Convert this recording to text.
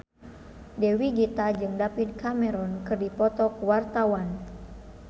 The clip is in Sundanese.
Dewi Gita jeung David Cameron keur dipoto ku wartawan